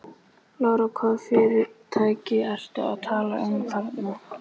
Lára: Hvaða fyrirtæki ertu að tala um þarna?